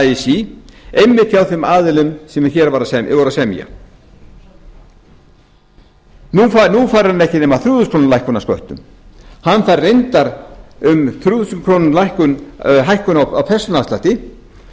así einmitt hjá þeim aðilum sem hér voru að semja nú fær hann ekki nema um þrjú þúsund króna lækkun á sköttum hann fær reyndar um þrjú þúsund króna hækkun á persónuafslætti